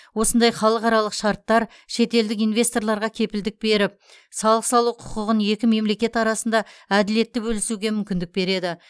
осындай халықаралық шарттар шетелдік инвесторларға кепілдік беріп салық салу құқығын екі мемлекет арасында әділетті бөлісуге мүмкіндік береді